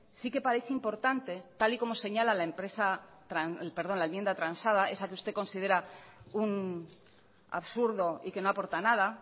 sí que parece importante tal y como señala la enmienda transada esa que usted considera un absurdo y que no aporta nada